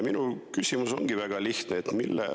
Minu küsimus ongi väga lihtne.